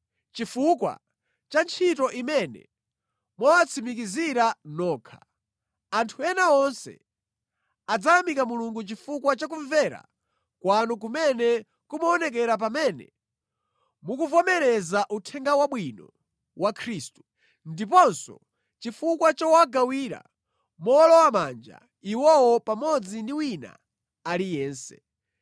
Chifukwa cha ntchito imene mwawatsimikizira nokha, anthu ena onse adzayamika Mulungu chifukwa cha kumvera kwanu kumene kumaonekera pamene mukuvomereza Uthenga Wabwino wa Khristu, ndiponso chifukwa chowagawira mowolowamanja iwowo pamodzi ndi wina aliyense.